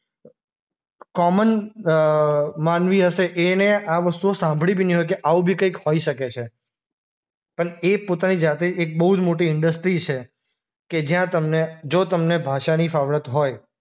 Common અ માનવી હશે એણે આ વસ્તુ સાંભળી બી ની હોય કે આવું બી કંઈક હોય શકે છે. પણ એ પોતાની જાતે એક બોઉ જ મોટી ઈન્ડસ્ટ્રી કે જ્યાં તમને, જો તમને ભાષાના ફાવડત હોય